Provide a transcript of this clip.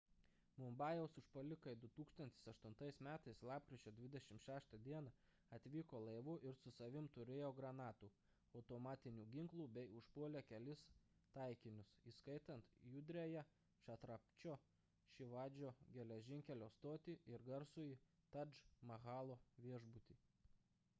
mumbajaus užpuolikai 2008 m lapkričio 26 d atvyko laivu ir su savimi turėjo granatų automatinių ginklų bei užpuolė kelis taikinius įskaitant judriąją čatrapačio šivadžio geležinkelio stotį ir garsųjį tadž mahalo viešbutį